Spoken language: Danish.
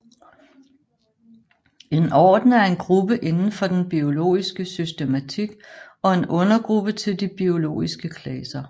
En orden er en gruppe indenfor den biologiske systematik og en undergruppe til de biologiske klasser